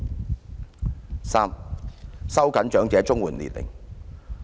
第三，收緊長者綜援年齡。